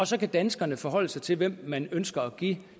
så kan danskerne forholde sig til hvem man ønsker at give